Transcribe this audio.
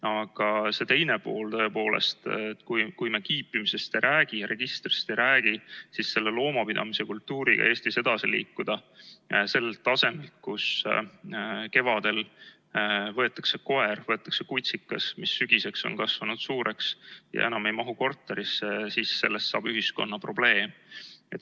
Aga see teine pool, kui me kiipimisest ei räägi ja registrist ei räägi, kuidas loomapidamise kultuuriga Eestis edasi liikuda sellelt tasemelt, kus kevadel võetakse koer, võetakse kutsikas, kes sügiseks on kasvanud suureks ja enam ei mahu korterisse, siis sellest saab ühiskonna probleem.